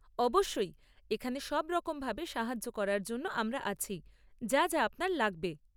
অবশ্যই, এখানে সব রকম ভাবে সাহায্য করার জন্য আমরা আছি, যা যা আপনার লাগবে।